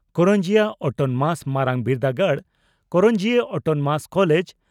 Karanjia autonomous ᱢᱟᱨᱟᱝ ᱵᱤᱨᱫᱟᱹᱜᱟᱲ (Karanjia Autonomous College